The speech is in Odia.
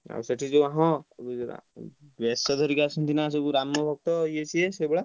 ଆଉ ସେଠୀ ସବୁ ହଁ ଉଁ ସେଠୀ ସବୁ ବେଶ ଧରିକି ଆସନ୍ତି ନା ରାମଭକ୍ତ ସବୁ ଇୟେ ସିଏ।